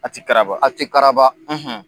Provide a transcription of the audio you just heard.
A ti karaba. A ti kararaba